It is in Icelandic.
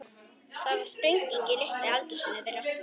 Það varð sprenging í litla eldhúsinu þeirra.